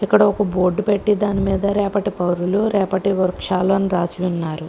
ఇక్కడ ఒక బోర్డు పెట్టి దాని మీద రేపటి పౌరులు రేపటి వృక్షాలు అని రాసి ఉన్నారు.